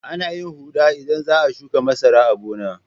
Ana yin huɗa idan za a shuƙa masara a gona.